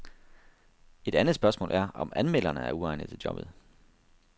Et andet spørgsmål er, om anmelderne er uegnede til jobbet.